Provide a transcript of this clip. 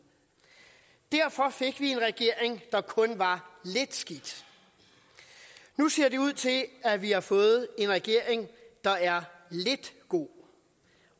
derfor fik vi en regering der kun var lidt skidt nu ser det ud til at vi har fået en regering der er lidt god